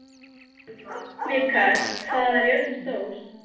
Mikael, hvað er jörðin stór?